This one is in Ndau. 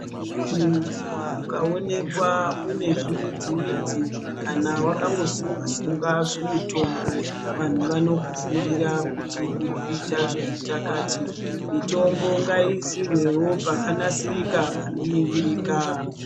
Muntu ukaonekwa une zvimidzi midzi kana wakango sunga sunga zvimutombo vantu vanokufungira kuti uri kuita zvemitakati mitombo ngaiisirwewo pakanaka pano ningirika.